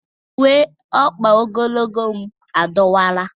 Ewere m uwe ogologo ọkpa m dọwara adọwa gakwuru.